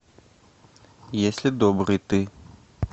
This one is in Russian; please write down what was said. если добрый ты